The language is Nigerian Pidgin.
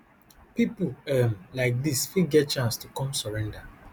pipo um like dis fit get chance to come surrender